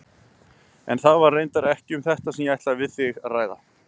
En það var reyndar ekki um þetta sem ég ætlaði að ræða við þig.